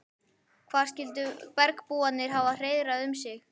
Hvar skyldu bergbúarnir hafa hreiðrað um sig?